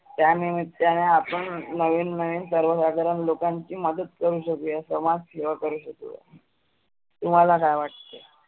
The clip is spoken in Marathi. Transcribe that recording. त्या निमीत्ताने आपण नविन नविन सर्वसाधारण लोकांची मदत करु शकुया. समाज सेवा करु शकुया. तुम्हाला काय वाटते?